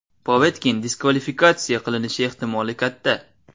Povetkin diskvalifikatsiya qilinishi ehtimoli katta.